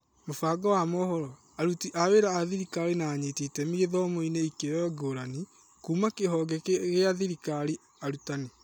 Mũbango wa mohoro, aruti a wĩra a thirikari na anyiti iteme gĩthomo-inĩ ikĩroinĩ ngũrani. kuuma kĩhonge gĩa thirikari, arutani.